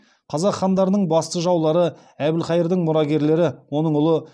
қазақ хандарының басты жаулары әбілхайырдың мұрагерлері